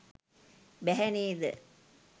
බැහැ නේද?